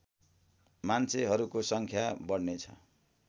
मान्छेहरूको सङ्ख्या बढ्नेछ